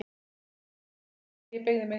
Þegar ég beygði inn